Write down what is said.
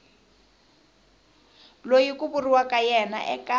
loyi ku vuriwaka yena eka